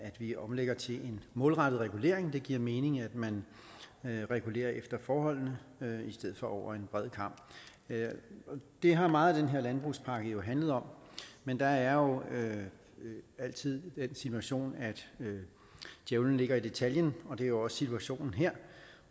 at vi omlægger til en målrettet regulering det giver mening at man regulerer efter forholdene i stedet for over en bred kam det har meget af den her landbrugspakke handlet om men der er jo altid den situation at djævlen ligger i detaljen og det er også situationen her